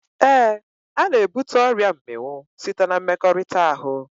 Éè, ana ebute ọrịa mminwụ site na mmekọrịta ahụ